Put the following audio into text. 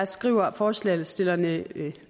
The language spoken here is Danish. skriver forslagsstillerne